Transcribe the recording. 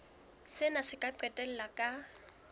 sena se ka qetella ka